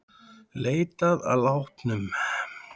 Leitað að látnum